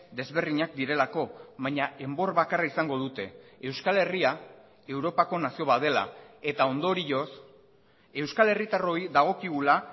desberdinak direlako baina enbor bakarra izango dute euskal herria europako nazio bat dela eta ondorioz euskal herritarroi dagokigula